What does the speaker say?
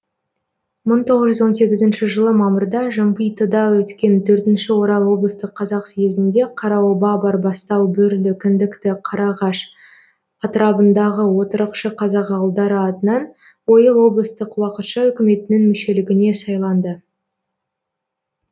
мың тоғыз жүз он сегізінші жылы мамырда жымпитыда өткен төртінші орал облыстық қазақ съезінде қараоба барбастау бөрлі кіндікті қарағаш атырабындағы отырықшы қазақ ауылдары атынан ойыл облыстық уақытша үкіметінің мүшелігіне сайланды